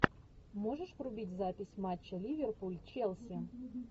можешь врубить запись матча ливерпуль челси